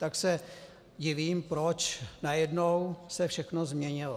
Tak se divím, proč najednou se všechno změnilo.